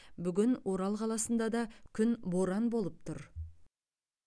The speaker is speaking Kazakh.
бүгін орал қаласында да күн боран болып тұр